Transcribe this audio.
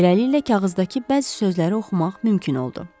Beləliklə kağızdakı bəzi sözləri oxumaq mümkün oldu.